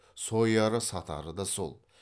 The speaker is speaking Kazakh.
сояры сатары да сол